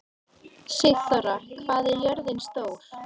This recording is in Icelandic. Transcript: Sigþóra, hvað er jörðin stór?